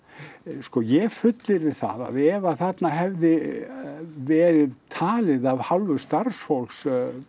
sko ég fullyrði það að ef að þarna hefði verið talið af hálfu starfsfólks